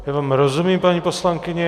Já vám rozumím, paní poslankyně.